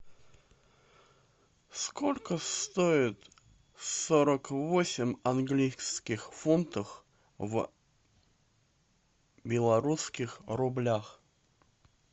сколько стоит сорок восемь английских фунтов в белорусских рублях